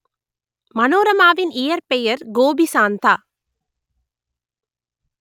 மனோரமாவின் இயற்பெயர் கோபிசாந்தா